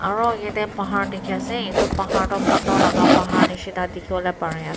aro yateh pahar dekhe ase etu pahar tuh pathor laga pahar nehsina dekhevole pare ase.